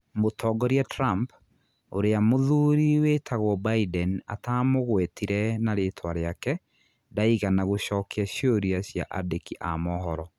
Mũtongoria Trump, ũrĩa mũthuri wĩtagwo Biden atamugwetire na rĩĩtwa rĩake n, ndaigana gũcokia ciũria cia andiki a mohoro.